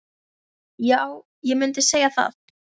Já, ég mundi segja það.